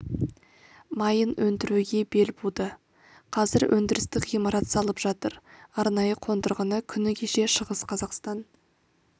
майын өндіруге бел буды қазір өндірістік ғимарат салып жатыр арнайы қондырғыны күні кеше шығыс қазақстан